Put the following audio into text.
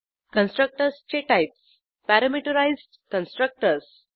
कन्स्ट्रक्टर्सचे types parameterised constructors